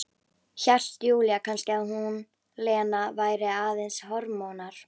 Hélt Júlía kannski að hún, Lena, væri aðeins hormónar?